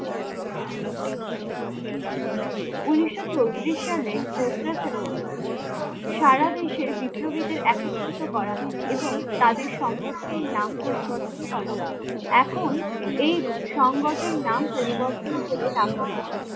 ঊনিশশো চৌত্রিশ সালে চৌঠা সেপ্টেম্বর সারা দেশে বিপ্লবীদের একত্রিত করা হয় এবং তাদের সংগঠনের নাম পরিবর্তন করা হয় এখন এই সংগঠনের নাম পরিবর্তন কে রাখা হয়েছে